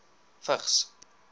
vigs